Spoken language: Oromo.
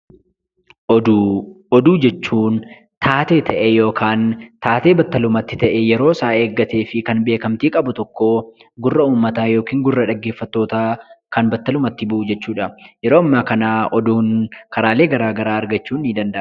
Oduu; oduu jechuun, taatee battalummatti ta'e yeroo isaa eegaatefi Kan beekamtti qabu tokkoo gurraa uummaata ykn gurraa dhageeffaatoota Kan battalummaati bu'u jechuudha. yeroo amma kana oduun karaalee garagaraa argachuun ni danda'ama.